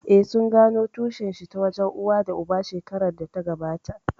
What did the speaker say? Eh, sun gano tushen shi ta wajen uwa da uba shekarar da ta gabata